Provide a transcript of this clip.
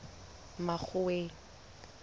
makgoweng